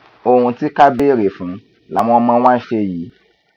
ohun tí ká béèrè fún làwọn ọmọ wa ń ṣe yìí